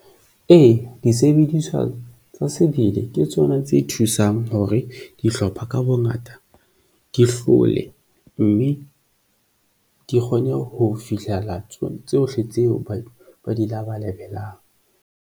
Ee, disebediswa tsa sebele ke tsona tse thusang hore dihlopha ka bongata di hlole, mme di kgone ho fihlela tsona tsohle tseo ba di labalabelang.